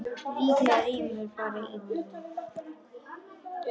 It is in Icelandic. Líklega rymur bara í honum.